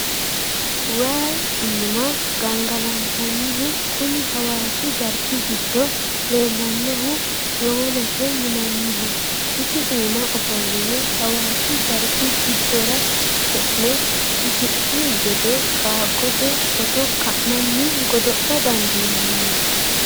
Waayi iima gangalattanihu kuni hawaasi garbi giddo leellanohu yowolote yinanniho isi iima ofolline hawaasi garbi giddora e'ne hasi'ni gede qaagote footto ka'nanni godo'la dandiinanni.